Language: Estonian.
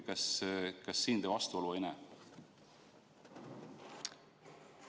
Kas te siin vastuolu ei näe?